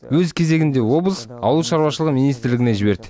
өз кезегінде облыс ауылшаруашылығы министрлігіне жіберді